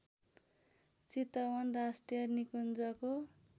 चितवन राष्ट्रिय निकुन्जको